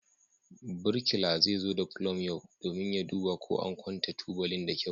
Birkila zai zo da pulum yau domin duba ko an kwanta tubalin da kyau.